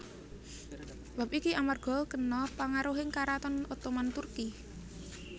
Bab iki amarga kena pangaruhing Karaton Ottoman Turki